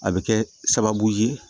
A bɛ kɛ sababu ye